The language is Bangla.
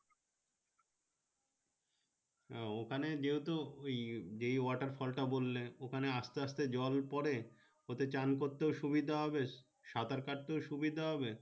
ও ওখানে যেহেতু ওই water falls তা বললে ওখানে আস্তে আস্তে জল পরে ওতে চান করতে সুবিধা হবে সাঁতার কাটতে সুবিধা হবে